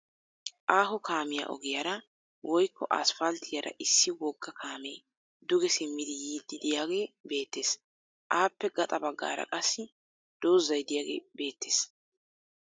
Aaho kaamiya ogiyaara woykko aspalttiyaara issi wogga kaame duge simmidi yiiddi diyagee beettes. Appe gaxa baggaara qassi dozzay diyagee beettees.